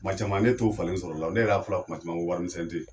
Kuma caman ne t'o falen sɔrɔ la o, ne yɛrɛ y'a fɔla kuma caman ko wari misɛn tɛ yen